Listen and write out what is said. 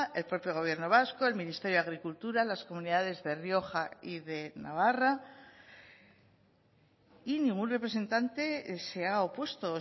el propio gobierno vasco el ministerio de agricultura las comunidades de rioja y de navarra y ningún representante se ha opuesto